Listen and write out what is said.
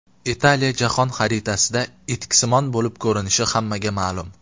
Italiya jahon xaritasida etiksimon bo‘lib ko‘rinishi hammaga ma’lum.